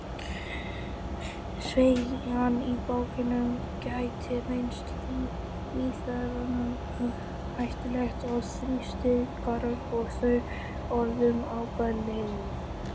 Sveigjan í bakinu gæti reynst líffærunum hættuleg og þrýstingurinn á þau orðið óbærilegur.